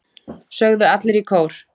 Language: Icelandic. sögðu allir í kór.